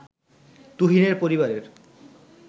তুহিনের পরিবারের